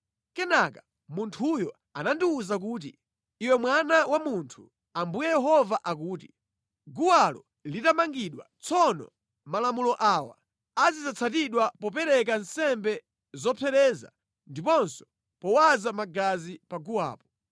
Kenaka munthuyo anandiwuza kuti, “Iwe mwana wa munthu, Ambuye Yehova akuti: Guwalo litamangidwa, tsono malamulo awa azidzatsatidwa popereka nsembe zopsereza ndiponso powaza magazi pa guwapo.